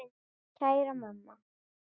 Kæra mamma.